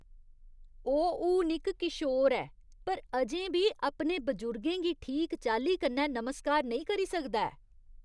ओह् हून इक किशोर ऐ पर अजें बी अपने बजुर्गें गी ठीक चाल्ली कन्नै नमस्कार नेईं करी सकदा ऐ।